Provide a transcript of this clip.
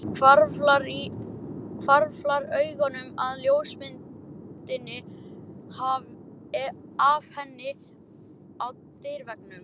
Hvarflar augunum að ljósmyndinni af henni á dyraveggnum.